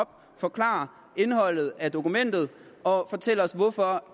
forklare indholdet af dokumentet og fortælle os hvorfor